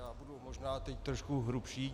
Já budu možná teď trošku hrubší.